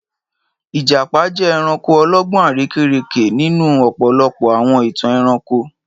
Ìjàpá jẹ́ ẹranko ọlọ́gbọ́n àrekérekè nínú ọ̀pọ̀lọpọ̀ àwọn ìtàn ẹranko.